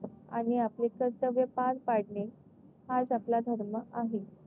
आणि आपले कर्तव्य पार पडणे हाच आपला धर्म आहे.